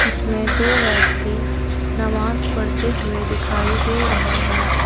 इसमें दो व्यक्ति नमाज पढ़ते हुए दिखाई दे रहे हैं ।